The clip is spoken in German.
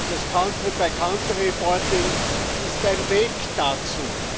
Das ist ein Weg dazu.